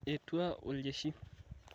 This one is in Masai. etua oljeshii